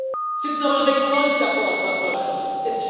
Es sitzen nur 96 Abgeordnete aus Deutschland hier.